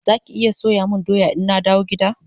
Zaki iya soya mun doya ina dawo gida?